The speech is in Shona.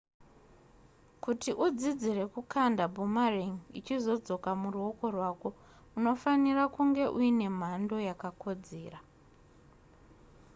kuti udzidzire kukanda boomerang ichizodzoka muruoko rwako unofanira kunge uine mhando yakakodzera